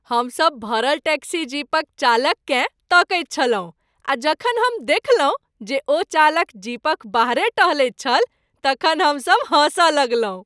हमसभ भरल टैक्सी जीपक चालककेँ तकैत छलहुँ आ जखन हम देखलहुँ जे ओ चालक जीपक बाहरे टहलैत छल तखन हमसभ हँसऽ लगलहुँ ।